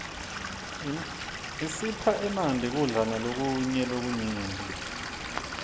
isipha emanti kudla malokunye lokunyenti